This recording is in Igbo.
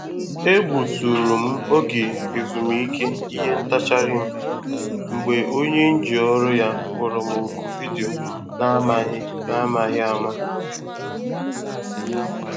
Egbu tụrụ m oge ezumike ìhè ntacharịm m mgbe onye nji ọrụ ya kpọrọ m oku vidio n’amaghị n’amaghị ama.